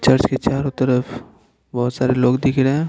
Church के चारों तरफ बहुत सारे लोग दिख रहे हैं।